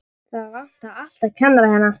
Það vantar alltaf kennara hérna.